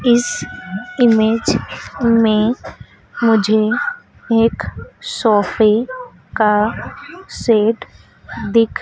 इस इमेज में मुझे एक सोफे का सेट --